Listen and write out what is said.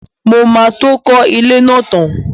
Mo máa tó kọ́ ilé náà tán.